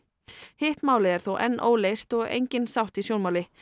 hitt málið er þó enn óleyst og engin sátt í sjónmáli